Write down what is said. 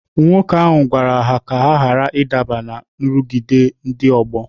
Nwoke ahụ gwara ha ka ha ghara ịdaba ná nrụgide ndị ọgbọ.